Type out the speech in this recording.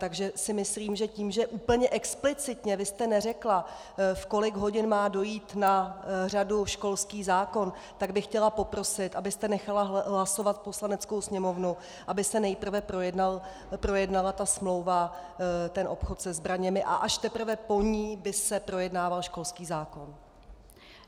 Takže si myslím, že tím, že úplně explicitně vy jste neřekla, v kolik hodin má přijít na řadu školský zákon, tak bych chtěla poprosit, abyste nechala hlasovat Poslaneckou sněmovnu, aby se nejprve projednala ta smlouva, ten obchod se zbraněmi, a až teprve po ní by se projednával školský zákon.